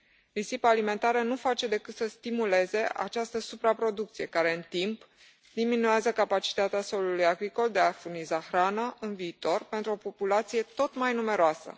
Risipa alimentară nu face decât să stimuleze această supraproducție care, în timp, diminuează capacitatea solului agricol de a furniza hrană în viitor pentru o populație tot mai numeroasă.